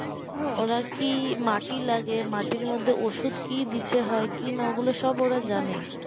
এবার কি মাটি লাগে মাটির মধ্যে ওষুধ কি দিতে হয় কি না ওগুলো সব ওরা জানে